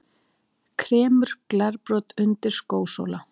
Kremur glerbrot undir skósóla.